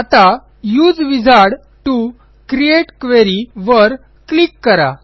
आता उसे wizard to create query वर क्लिक करा